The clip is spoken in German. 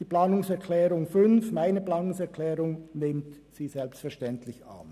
Die Planungserklärung 5 nimmt sie selbstverständlich an.